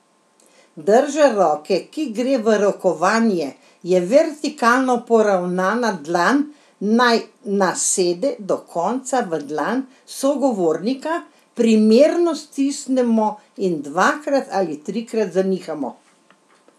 Drža roke, ki gre v rokovanje, je vertikalno poravnana, dlan naj nasede do konca v dlan sogovornika, primerno stisnemo in dvakrat ali trikrat zanihamo.